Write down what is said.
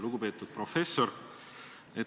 Lugupeetud professor!